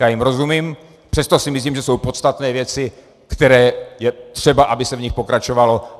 Já jim rozumím, přesto si myslím, že jsou podstatné věci, které je třeba, aby se v nich pokračovalo.